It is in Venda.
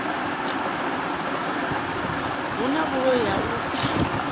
hu na vhuloi ha u